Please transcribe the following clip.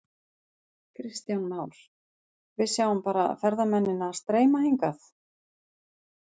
Kristján Már: Við sjáum bara ferðamennina streyma hingað?